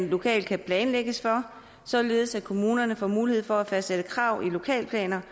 lokalt kan planlægges for således at kommunerne får mulighed for at fastsætte krav i lokalplanerne